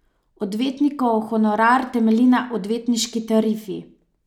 Odvetnikov honorar temelji na odvetniški tarifi.